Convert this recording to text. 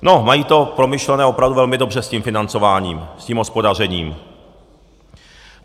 No, mají to promyšlené opravdu velmi dobře s tím financováním, s tím hospodařením.